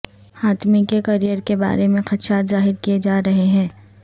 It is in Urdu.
حاتمی کے کریئر کے بارے میں خدشات ظاہر کیے جا رہے ہیں